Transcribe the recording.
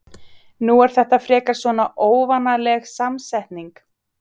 Nú er þetta frekar svona óvanaleg samsetning?